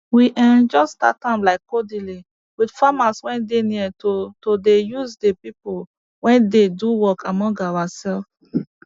we um jus start am like codedly with farmers wey dey near to to dey use de pipo wey dey do work among oursefs